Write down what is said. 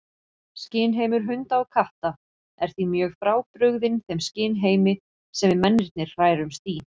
Skynheimur hunda og katta er því mjög frábrugðinn þeim skynheimi sem við mennirnir hrærumst í.